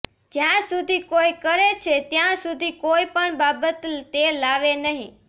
જ્યાં સુધી કોઇ કરે છે ત્યાં સુધી કોઈ પણ બાબત તે લાવે નહીં